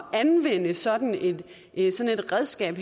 at anvende sådan et sådan et redskab